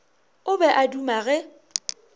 o be a duma ge